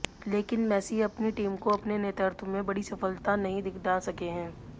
लेकिन मैसी अपनी टीम को अपने नेतृत्व में बड़ी सफलता नहीं दिला सके हैं